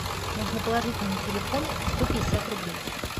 нужно положить мне на телефон сто пятьдесят рублей